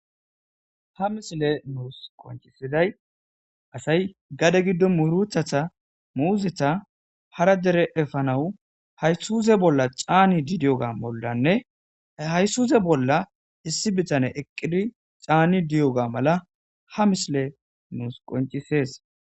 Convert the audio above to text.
Ha misiley nussi qoncissiday asay bamuruta wokko muzia harra gadde effanaw aysuzzerra canissidayssa isuzze blla issi bittanney dizzayssa besses.